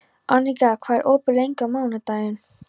Aníka, hvað er opið lengi á mánudaginn?